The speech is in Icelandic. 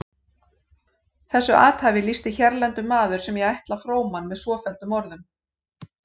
Þessu athæfi lýsti hérlendur maður sem ég ætla fróman með svofelldum orðum